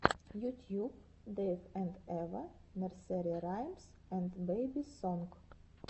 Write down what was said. ютьюб дэйв энд эва нерсери раймс энд бэби сонг